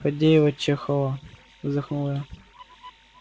фадеева-чехова вздохнул я